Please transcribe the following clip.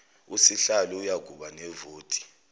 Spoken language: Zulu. usihlalo uyakuba nevoti